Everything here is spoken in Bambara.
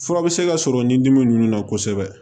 Fura bɛ se ka sɔrɔ ni dimi ninnu na kosɛbɛ